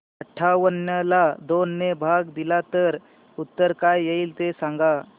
अठावन्न ला दोन ने भाग दिला तर उत्तर काय येईल ते सांगा